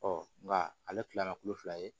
nka ale tilala kulo fila ye